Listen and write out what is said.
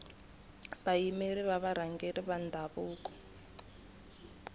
vayimeri va varhangeri va ndhavuko